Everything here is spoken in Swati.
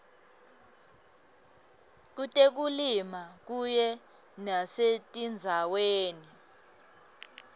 kutekulima kanye nasetindzaweni